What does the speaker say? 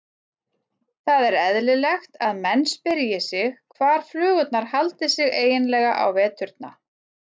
Það er eðlilegt að menn spyrji sig hvar flugurnar haldi sig eiginlega á veturna.